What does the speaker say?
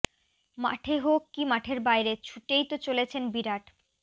মাঠে হোক কী মাঠের বাইরে ছুটেই তো চলেছেন বিরাট